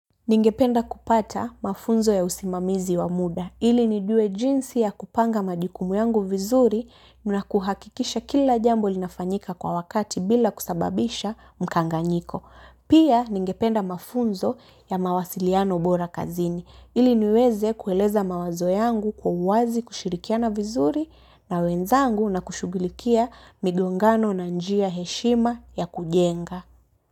Ningependa kupata mafunzo ya usimamizi wa muda ili nijue jinsi ya kupanga majikumu yangu vizuri na kuhakikisha kila jambo linafanyika kwa wakati bila kusababisha mkanganyiko. Pia ningependa mafunzo ya mawasiliano bora kazini ili niweze kueleza mawazo yangu kwa uwazi kushirikia vizuri na wenzangu na kushughulikia migongano na njia heshima ya kujenga.